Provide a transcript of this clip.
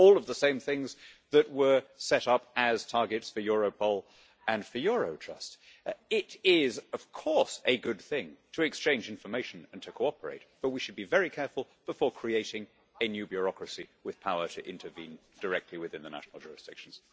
All of the same things that were set up as targets for Europol and for Eurojust. It is, of course, a good thing to exchange information and to cooperate, but we should be very careful before creating a new bureaucracy with power to intervene directly within the national jurisdictions.